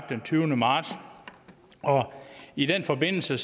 den tyvende marts og i den forbindelse